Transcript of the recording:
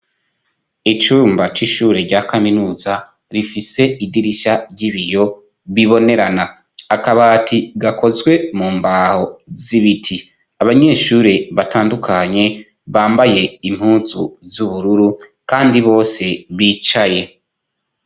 Icumba c'ishure rya kaminuza rifise idirisha ry'ibiyo bibonerana akabati gakozwe mu mbaho z'ibiti abanyeshurure batandukanye bambaye impuzu z'ubururu kandi bose bicaye.